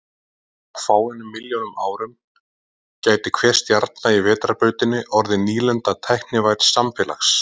Á fáeinum milljónum árum gæti hver stjarna í Vetrarbrautinni orðið nýlenda tæknivædds samfélags.